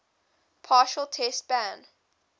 partial test ban